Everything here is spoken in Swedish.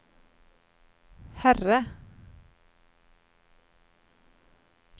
herre